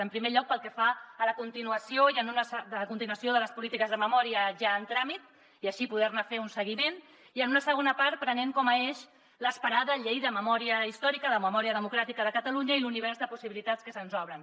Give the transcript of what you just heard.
en primer lloc pel que fa a la continuació de les polítiques de memòria ja en tràmit i així poder ne fer un seguiment i en una segona part prenent com a eix l’esperada llei de memòria històrica de memòria democràtica de catalunya i l’univers de possibilitats que se’ns obren